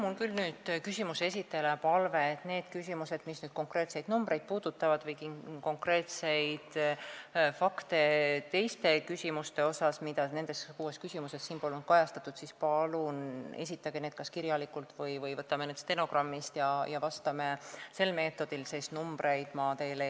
Mul on küll küsimuse esitajale palve, et need küsimused, mis puudutavad konkreetseid numbreid või konkreetseid fakte seoses teemadega, mida nendes kuues küsimuses polnud kajastatud, palun esitage kas kirjalikult või võtame need küsimused stenogrammist ja vastame sel meetodil.